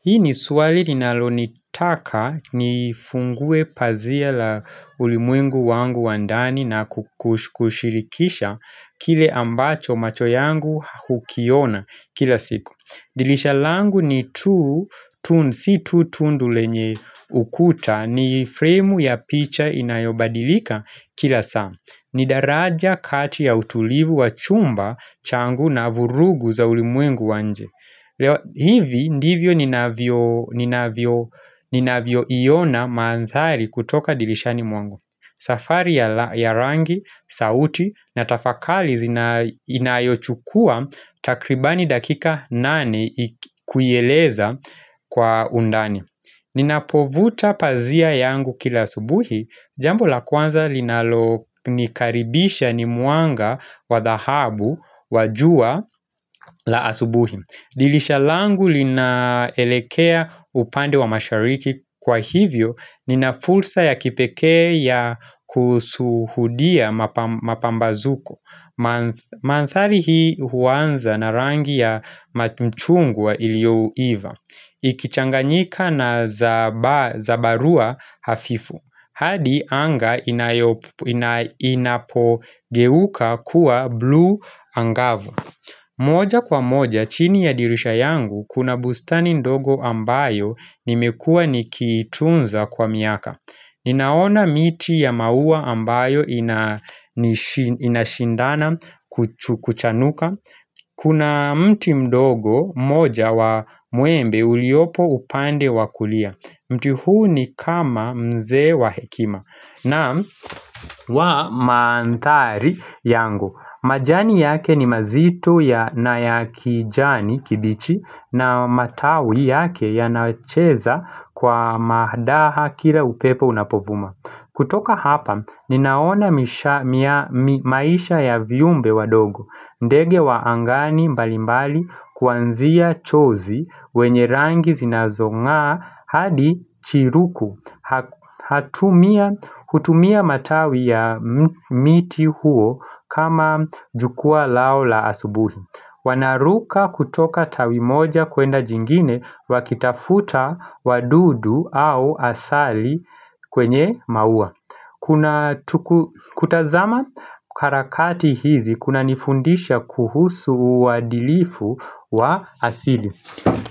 Hii ni swali ninalonitaka nifunguwe pazia la ulimwengu wangu wa ndani na kushirikisha kile ambacho macho yangu hukiona kila siku. Dilisha langu ni tu, tun, si tu tundu lenye ukuta ni fremu ya picha inayobadilika kila saa. Ni daraja kati ya utulivu wa chumba changu na vurugu za ulimwengu wa nje. Hivi ndivyo ninavyo iona maanthari kutoka dilishani mwangu safari ya rangi, sauti na tafakali inayochukua takribani dakika nane kuieleza kwa undani Ninapovuta pazia yangu kila asubuhi, jambo la kwanza linalo nikaribisha ni mwanga wa dahabu wa jua la asubuhi Dilisha langu linaelekea upande wa mashariki kwa hivyo nina fulsa ya kipekea ya kusuhudia mapambazuko manthari hii huanza na rangi ya mchungwa iliouiva Ikichanganyika na zabarua hafifu hadi anga inapogeuka kuwa bluu angavu moja kwa moja chini ya dirisha yangu kuna bustani ndogo ambayo nimekua nikiitunza kwa miaka. Ninaona miti ya maua ambayo inashindana kuchanuka. Kuna mti mdogo mmoja wa muembe uliopo upande wa kulia. Mti huu ni kama mze wa hekima. Naam mandhari yangu majani yake ni mazito na ya kijani kibichi na matawi yake yanacheza kwa madaha kila upepo unapovuma kutoka hapa, ninaona maisha ya viumbe wadogo ndege wa angani mbalimbali kuanzia chozi wenye rangi zinazong'aa hadi chiruku hutumia matawi ya miti huo kama jukwaa lao la asubuhi Wanaruka kutoka tawi moja kwenda jingine wakitafuta wadudu au asali kwenye maua kutazama harakati hizi kunanifundisha kuhusu uadilifu wa asili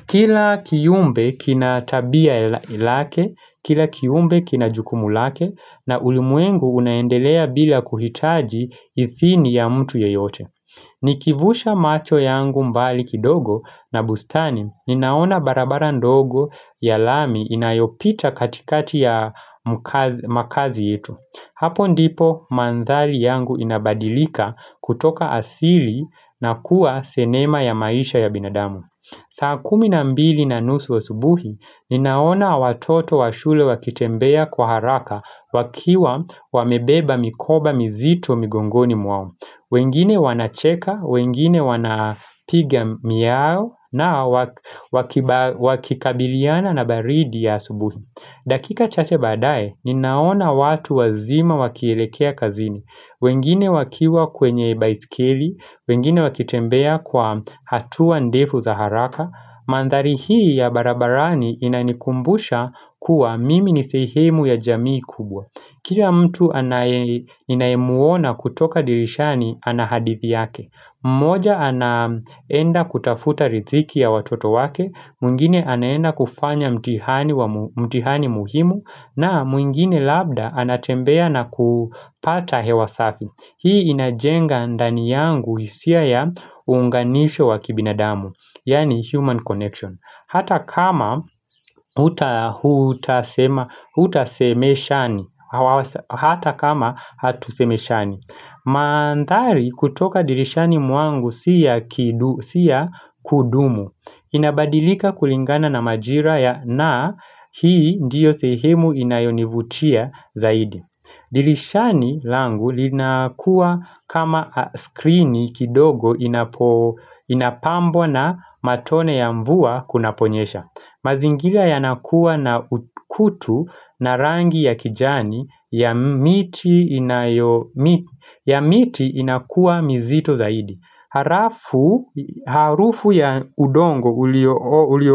Kila kiumbe kina tabia lake, kila kiumbe kina jukumu lake na ulimwengu unaendelea bila kuhitaji ithini ya mtu yeyote Nikivusha macho yangu mbali kidogo na bustani, ninaona barabara ndogo ya lami inayopita katikati ya makazi yetu Hapo ndipo mandhari yangu inabadilika kutoka asili na kuwa sinema ya maisha ya binadamu saa kumi na mbili na nusu wa asubuhi, ninaona watoto wa shule wakitembea kwa haraka wakiwa wamebeba mikoba mizito migongoni mwao wengine wanacheka, wengine wanapiga miao na wakikabiliana na baridi ya subuhi dakika chache baadaye, ninaona watu wazima wakielekea kazini wengine wakiwa kwenye baisikeli, wengine wakitembea kwa hatua ndefu za haraka mandhari hii ya barabarani inanikumbusha kuwa mimi ni sehemu ya jamii kubwa Kila mtu ninayemuona kutoka dirishani ana hadithi yake mmoja anaenda kutafuta riziki ya watoto wake mwingine anaenda kufanya mtihani muhimu na mwingine labda anatembea na kupata hewa safi Hii inajenga ndani yangu hisia ya uunganisho wa kibinadamu Yani human connection Hata kama utasemeshani Hata kama hatusemeshani mandhari kutoka dirishani mwangu si ya kudumu inabadilika kulingana na majira ya na Hii ndiyo sehemu inayonivutia zaidi dirishani langu linakuwa kama skrini kidogo inapambwa na matone ya mvua kunaponyesha mazingira yanakuwa na kutu na rangi ya kijani ya miti inakuwa mizito zaidi harafu Harufu ya udongo ulio o ulio.